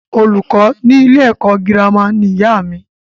Olùkó ní ilé ẹ̀kọ́ gírámà ní ìyá mí.